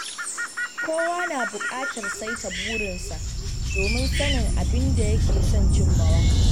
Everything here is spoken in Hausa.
Kowa na bukatar saita burinsa domin sanin abin da yake son cimmawa.